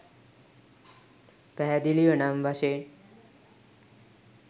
පැහැදිලිව නම් වශයෙන්